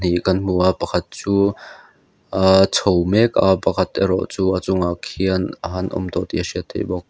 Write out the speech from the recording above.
pahnih kan hmu a pakhat chu ahh a chho mek a pakhat erawh chu a chungah khian a han awm tawh tih a hriat theih bawk.